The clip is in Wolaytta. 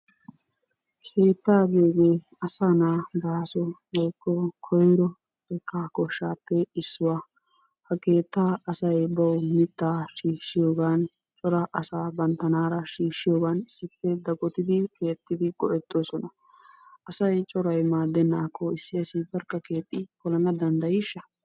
Keetta giyogge asa naa baaso woyko koyro xekka koshshappe issuwa ha keetta asay bawu mitta shiishiyaggan cora asa banttanara shiishiyoggan issippe dagottidi keexidi go'ettosona asay coray maadenakko issi asi barkka keexi polana dandaysha?